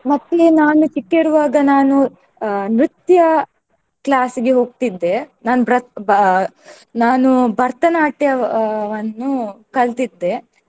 ಮತ್ತೆ ನಾನು ಚಿಕ್ಕ ಇರುವಾಗ ನಾನು ಅಹ್ ನ್ರತ್ಯ class ಗೆ ಹೋಗ್ತಿದ್ದೆ. ನಾನ್ ಬ್ರತ್~ ಬಾ~ ನಾನು ಭರತನಾಟ್ಯವನ್ನು ಕಲ್ತಿದ್ದೆ.